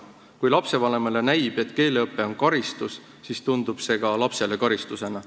Kui lapsevanemale näib, et keeleõpe on karistus, siis tundub see ka lapsele karistusena.